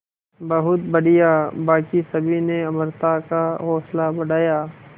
बहुत बढ़िया बाकी सभी ने अमृता का हौसला बढ़ाया